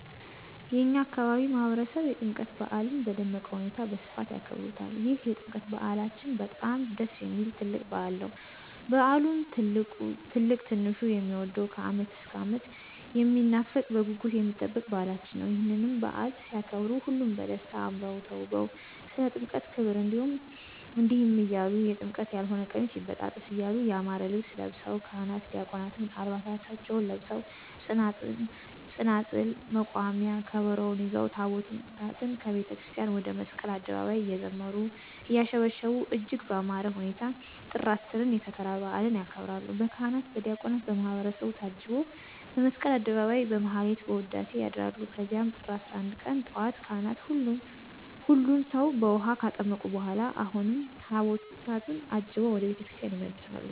የእኛ አካባቢ ማህበረሰብ የጥምቀት በዓልን በደመቀ ሁኔታ በስፋት ያከብሩታል ይህ የጥምቀት በዓላችን በጣም ደስ የሚል ትልቅ በዓል ነዉ። በዓሉም ትልቅ ትንሹ የሚወደዉ ከዓመት እስከ ዓመት የሚናፈቅ በጉጉት የሚጠበቅ በዓላችን ነዉ። ይህንንም በዓል ሲያከብሩ ሁሉም በደስታ አምረዉ ተዉበዉ ስለ ጥምቀት ክብር እንዲህ እያሉ<የጥምቀት ያልሆነ ቀሚስ ይበጣጠስ> እያሉ ያማረ ልብስ ለብሰዉ ካህናት ዲያቆናትም ዓልባሳታቸዉን ለብሰዉ ፅናፅል፣ መቋሚያ፣ ከበሮዉን ይዘዉ ታቦታትን ከቤተክርስቲያን ወደ መስቀል አደባባይ እየዘመሩ; እያሸበሸቡ እጅግ በአማረ ሁኔታ ጥር 10ን የከተራ በዓልን ያከብራሉ። በካህናት በዲያቆናት በማህበረሰቡ ታጅበዉ በመስቀል አደባባይ በማህሌት በዉዳሴ ያድራሉ ከዚያም ጥር 11 ቀን ጧት ካህናት ሁሉን ሰዉ በዉሀ ካጠመቁ በኋላ አሁንም ታቦታትን አጅበዉ ወደ ቤተ ክርስቲያን ይመለሳሉ።